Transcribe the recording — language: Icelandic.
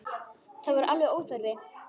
Það var alveg óþarfi.